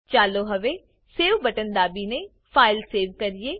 ચાલો હવે save button દાબીને ફાઈલ સેવ કરીએ